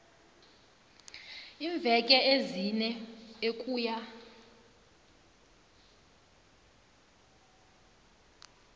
iimveke ezine ukuya